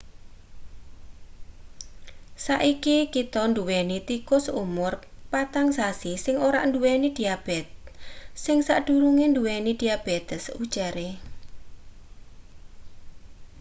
"saiki kita nduweni tikus umur-4-sasi sing ora-nduweni-diabetes sing sadurunge nduweni diabetes ujare.